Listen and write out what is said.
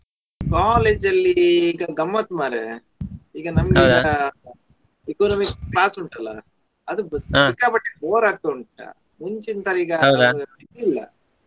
college ಅಲ್ಲಿ ಈಗ ಗಮ್ಮತ್ತು ಮರ್ರೆ ಈಗ Economics class ಉಂಟಲ್ಲಾ ಅದು ಸಿಕ್ಕಾ ಪಟ್ಟೆ bore ಆಗುವುದುಂಟಾ ಮುಂಚಿಂದ್ ತರ ಇದ್ ಇಲ್ಲ.